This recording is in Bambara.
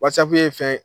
Wasapu ye fɛn